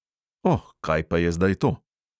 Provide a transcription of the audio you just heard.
Oh, kaj pa je zdaj to?